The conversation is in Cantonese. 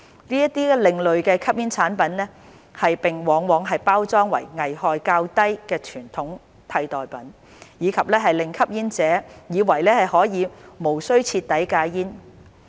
這些另類吸煙產品往往包裝為危害較低的傳統煙替代品，令吸煙者以為可以無須徹底戒煙。